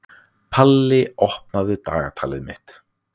Palli, opnaðu dagatalið mitt.